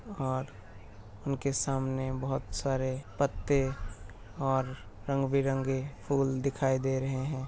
और उनके सामंने बहुत सारे पत्ते और रंग -बीरंगे फूल दिखाई दे रहे हैं।